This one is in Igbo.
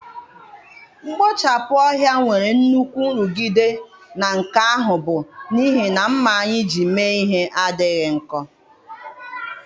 Mkpochapụ ohia nwere nnukwu nrụgide na nke ahụ bụ n'ihi na ḿmà anyị ji mee ihe adịghị nkọ.